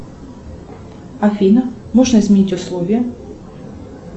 афина можно изменить условия